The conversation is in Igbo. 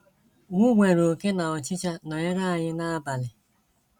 m nwere oké na ọchịcha nọyere anyị na abalị.